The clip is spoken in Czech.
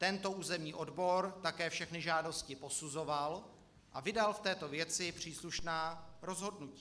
Tento územní odbor také všechny žádosti posuzoval a vydal v této věci příslušná rozhodnutí.